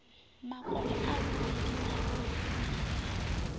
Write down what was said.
makolo a muvhili a vhonalaho